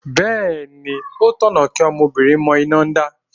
Bẹ́ẹ̀ni, ó tọ̀nà kí ọmọbìnrin mọ iná dá.